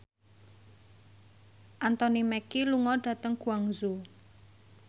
Anthony Mackie lunga dhateng Guangzhou